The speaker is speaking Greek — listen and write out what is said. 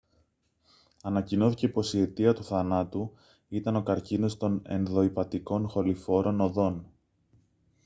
ανακοινώθηκε πως η αιτία του θανάτου ήταν ο καρκίνος των ενδοηπατικών χοληφόρων οδών